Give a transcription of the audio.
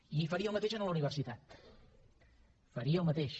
i faria el mateix amb la universitat faria el mateix